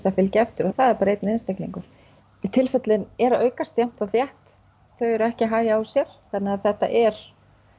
að fylgja eftir og það er bara einn einstaklingur tilfellin eru að aukast jafnt og þétt þau eru ekki að hægja á sér þannig að þetta er